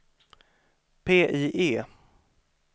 PIE